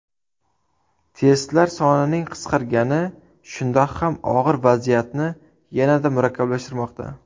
Testlar sonining qisqargani shundoq ham og‘ir vaziyatni yanada murakkablashtirmoqda.